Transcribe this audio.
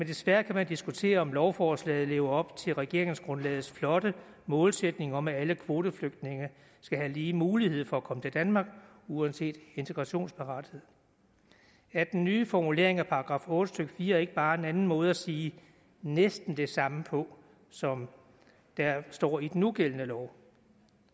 desværre diskutere om lovforslaget lever op til regeringsgrundlagets flotte målsætning om at alle kvoteflygtninge skal have lige mulighed for at komme til danmark uanset integrationsparathed er den nye formulering af § otte stykke fire ikke bare en anden måde at sige næsten det samme på som der står i den nugældende lov